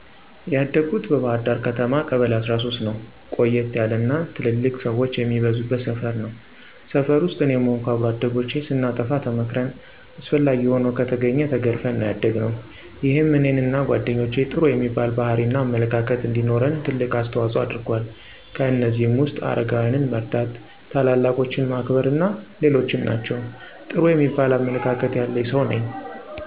ያደኩት በባህርዳር ከተማ ቀበሌ13ነው። ቆየት ያለ እና ትልልቅ ሠወች የሚበዙበት ሰፈር ነው። ሰፈር ውስጥ እኔም ሆንኩ አብሮ አደጎቼ ስናጠፋ ተመክረን አስፈላጊ ሆኖ ከተገኘ ተገርፈን ነው ያደግነው። ይሄም እኔንና ጓደኞቼ ጥሩ የሚባል ባህሪ እና አመለካከት እንዲኖረን ትልቅ አስተዋጽኦ አድርጎአል። ከእነዚህም ውስጥ አረጋውያንን መርዳ፣ ታላላቆችን ማክበር አና ሌሎችም ናቸው። ጥሩ የሚባል አመለካከት ያለኝ ሠው ነኝ።